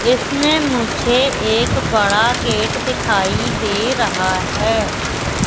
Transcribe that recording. इसमें मुझे एक बड़ा गेट दिखाई दे रहा है।